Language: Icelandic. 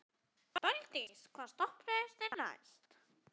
Daldís, hvaða stoppistöð er næst mér?